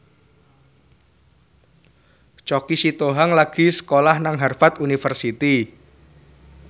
Choky Sitohang lagi sekolah nang Harvard university